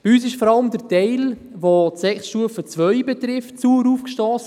Bei uns stiess vor allem der Teil, der die Sekundarstufe II betrifft, sauer auf;